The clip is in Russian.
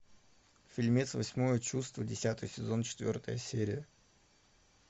фильмец восьмое чувство десятый сезон четвертая серия